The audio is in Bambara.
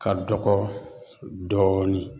Ka dɔgɔ dɔɔni